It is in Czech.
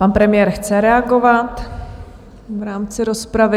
Pan premiér chce reagovat v rámci rozpravy.